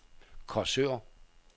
Korsør